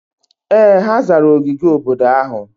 Ee! Ha zara ogige obodo ahụ.